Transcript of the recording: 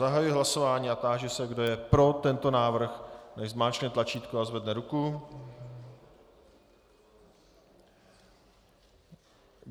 Zahajuji hlasování a táži se, kdo je pro tento návrh, nechť zmáčkne tlačítko a zvedne ruku.